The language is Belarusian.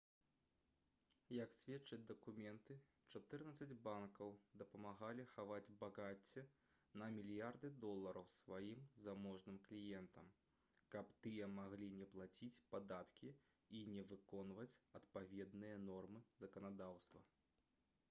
як сведчаць дакументы чатырнаццаць банкаў дапамагалі хаваць багацце на мільярды долараў сваім заможным кліентам каб тыя маглі не плаціць падаткі і не выконваць адпаведныя нормы заканадаўства